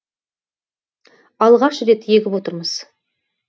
алғаш рет егіп отырмыз